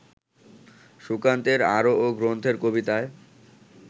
সুকান্তের আরও গ্রন্থের কবিতায়